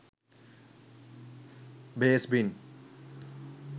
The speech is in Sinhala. bass bin